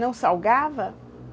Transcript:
Não salgava?